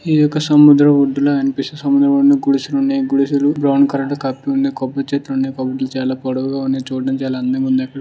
ఇదొక సముద్రం ఒడ్డుల అనిపిస్తుంది. సముద్రం ఒడ్డున గుడిసెలు ఉన్నాయి. గుడిసెలు బ్రౌన్ కలర్ లో కాపేసిఉంది. కొబ్బరి చెట్లున్నాయి. కొబ్బరి చాల పొడవుగా ఉన్నాయి. చూడడానికి చాల అందంగా ఉన్నాయి.